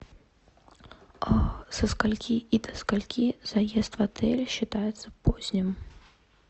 а со скольки и до скольки заезд в отель считается поздним